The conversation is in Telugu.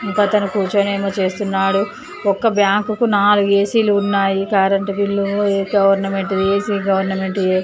ఇంకా తన కూర్చోనేమో చేస్తున్నాడు. ఒక్క బ్యాంకు కు నాలుగు ఏసీ ఉన్నాయి. Current bill government AC government --